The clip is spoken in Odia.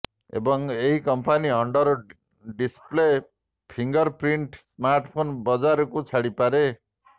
ଏବଂ ଏହି company under display finger print smartphone ବଜାରକୁ ଛାଡିପାରେ